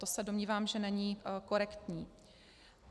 To se domnívám, že není korektní.